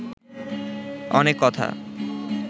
অনেক কথা